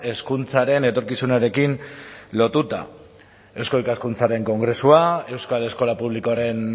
hezkuntzaren etorkizunarekin lotuta eusko ikaskuntzaren kongresua euskal eskola publikoaren